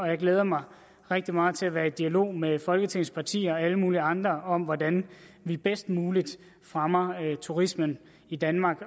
jeg glæder mig rigtig meget til at være i dialog med folketingets partier og alle mulige andre om hvordan vi bedst muligt fremmer turismen i danmark